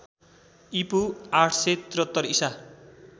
ईपू ८७३ ईसा